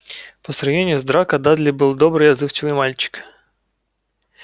по сравнению с драко дадли был добрый и отзывчивый мальчик